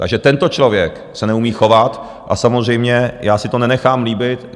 Takže tento člověk se neumí chovat a samozřejmě já si to nenechám líbit.